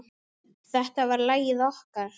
Þetta var lagið okkar.